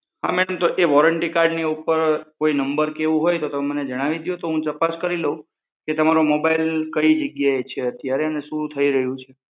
હા મેડમ તો એ વોરંટી કાર્ડની ઉપર કોઈ નંબર હોઈ તો એ મને જણાવી દો તો હું તપાસ કરી લવ કે તમારો મોબાઈલ કઈ જગ્યાએ છે અત્યારે અને શું થઇ રહ્યું છે